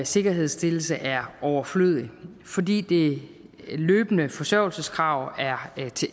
sikkerhedsstillelse er overflødigt fordi det løbende forsørgelseskrav er